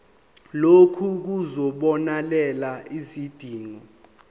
lokhu kuzobonelela izidingo